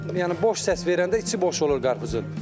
Yəni boş səs verəndə içi boş olur qarpızın.